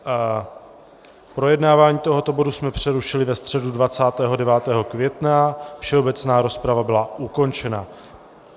Projednávání tohoto bodu jsme přerušili ve středu 29. května, všeobecná rozprava byla ukončena.